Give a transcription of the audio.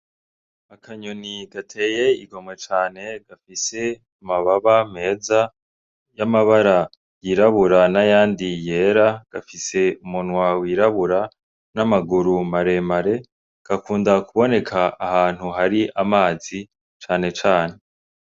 Akanyoni gateye igomwe cane gafise amababa meza y'amabara yirabura n'ayandi yera, gafise umunwa wirabura n'amaguru maremare. Gakunda kuboneka ahantu hari amazi cane cane.